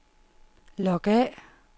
log af